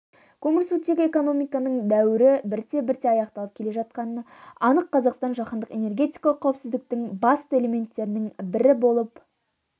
көмірсутегі экономикасының дәуірі бірте-бірте аяқталып келе жатқаны анық қазақстан жаһандық энергетикалық қауіпсіздіктің басты элементтерінің бірі болып